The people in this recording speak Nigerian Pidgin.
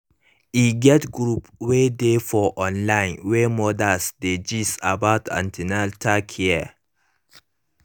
e get group wey dey for online wey mothers dey gist about an ten atal care